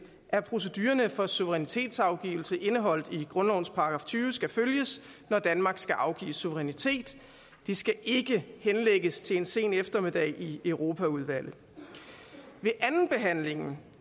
at procedurerne for suverænitetsafgivelse indeholdt i grundlovens § tyve skal følges når danmark skal afgive suverænitet det skal ikke henlægges til en sen eftermiddag i europaudvalget ved andenbehandlingen